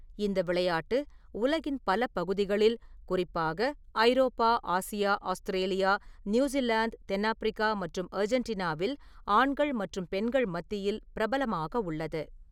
இந்த விளையாட்டு உலகின் பல பகுதிகளில், குறிப்பாக ஐரோப்பா, ஆசியா, ஆஸ்திரேலியா, நியூசிலாந்து, தென்னாப்பிரிக்கா மற்றும் அர்ஜென்டினாவில் ஆண்கள் மற்றும் பெண்கள் மத்தியில் பிரபலமாக உள்ளது.